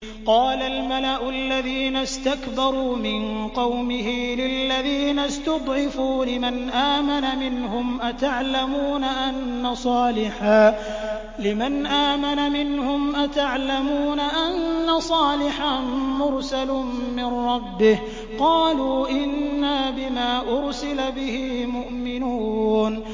قَالَ الْمَلَأُ الَّذِينَ اسْتَكْبَرُوا مِن قَوْمِهِ لِلَّذِينَ اسْتُضْعِفُوا لِمَنْ آمَنَ مِنْهُمْ أَتَعْلَمُونَ أَنَّ صَالِحًا مُّرْسَلٌ مِّن رَّبِّهِ ۚ قَالُوا إِنَّا بِمَا أُرْسِلَ بِهِ مُؤْمِنُونَ